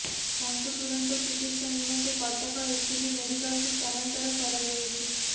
ତାଙ୍କୁ ତୁରନ୍ତ ଚିକିତ୍ସା ନିମନ୍ତେ କଟକ ଏସସିବି ମେଡିକାଲକୁ ସ୍ଥାନାନ୍ତର କରାଯାଇଛି